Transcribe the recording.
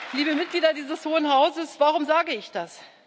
Liebe Mitglieder dieses Hohen Hauses, warum sage ich das?